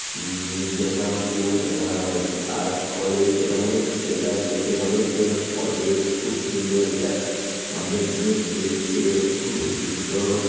মিদনাপুর আর আত কলেজ এটা মনে এটা দেখে মনে হচ্ছে যেন কলেজ খুব সুন্দর এটা সামনে গেট রয়েছে খুব সুন্দর।